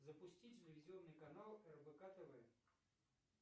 запусти телевизионный канал рбк тв